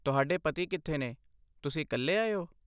ਤੁਹਾਡੇ ਪਤੀ ਕਿੱਥੇ ਨੇ, ਤੁਸੀਂ ਇਕੱਲੇ ਆਏ ਹੋ?